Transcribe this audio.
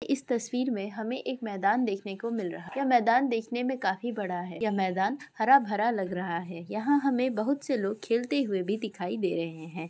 इस तस्वीर में हमें एक मैदान देखने को मिल रहा है। यह मैदान दिखने में काफी बड़ा है। यह मैदान हरा भरा लग रहा है। यहां हमें बोहोत से लोग खेलते हुए भी दिखाई दे रहे हैं।